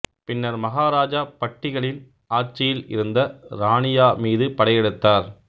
பின்னர் மகாராஜா பட்டிகளின் ஆட்சியில் இருந்த ரானியா மீது படையெடுத்தார்